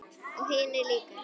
Og hinir líka.